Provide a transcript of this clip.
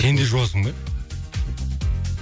сен де жуасың ба